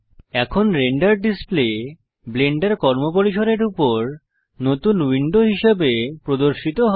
এখন render display Blender কর্মপরিসরের উপর নতুন উইন্ডো হিসাবে প্রদর্শিত হয়